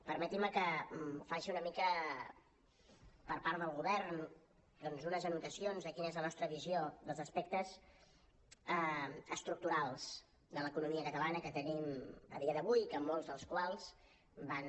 permetin me que faci una mica per part del govern doncs unes anotacions de quina és la nostra visió dels aspectes estructurals de l’economia catalana que tenim a dia d’avui que en molts dels quals van